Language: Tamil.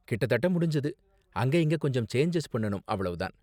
கிட்டத்தட்ட முடிஞ்சது. அங்க இங்க கொஞ்சம் சேஞ்சஸ் பண்ணனும், அவ்ளோ தான்.